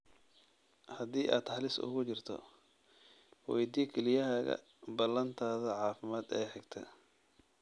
Haddii aad halis ugu jirto, weydii kelyahaaga ballantaada caafimaad ee xigta.